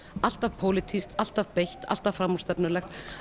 alltaf pólitískt alltaf beitt alltaf framúrstefnulegt